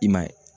I m'a ye